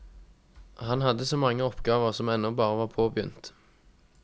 Han hadde så mange oppgaver som ennå bare var påbegynt.